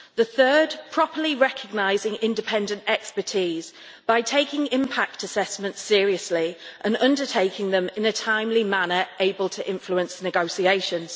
The third, properly recognising independent expertise by taking impact assessments seriously and undertaking them in a timely manner able to influence negotiations.